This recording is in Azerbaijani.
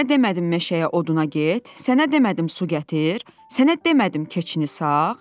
Sənə demədim məşəyə oduna get, sənə demədim su gətir, sənə demədim keçini sağ?